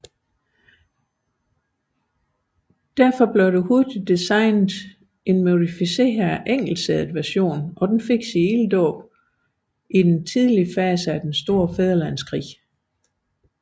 En modificeret enkeltsædet version blev derfor hurtigt designet og fik sin ilddåb i den tidlige fase af Den Store Fædrelandskrig